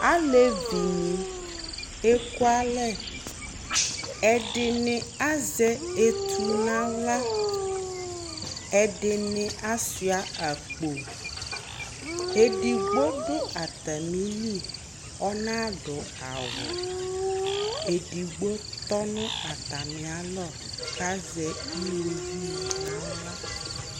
alevi ni eku alɛ ɛdini azɛ etu n'ala ɛdini asua akpo edigbo do atamili ɔna do awu edigbo tɔ no atami alɔ k'azɛ uwoviu n'ala